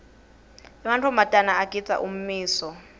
emantfombatana agindza ummiso